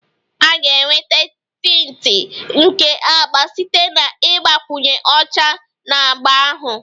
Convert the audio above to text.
A ga-enweta tinti nke agba site na ịgbakwunye ọcha na agba ahụ